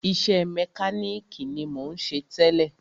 Iṣẹ́ mẹkánìkì ni mò ń ṣe tẹ́lẹ̀.